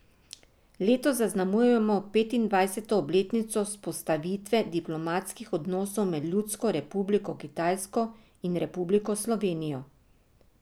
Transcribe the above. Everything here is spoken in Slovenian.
Letos zaznamujemo petindvajseto obletnico vzpostavitve diplomatskih odnosov med Ljudsko republiko Kitajsko in Republiko Slovenijo.